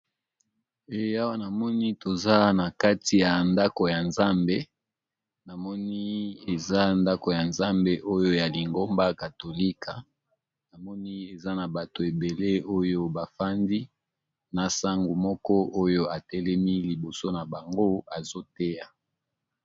Awa namoni balakisi biso eza esika oyo basambelaka eza nandako ya Nzambe namoni boto ebele bazo sambela nzambe